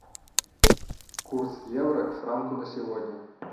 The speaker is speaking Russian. курс евро к франку на сегодня